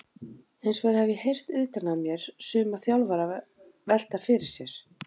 Hinsvegar hef ég heyrt utan að mér suma þjálfara velta fyrir sér?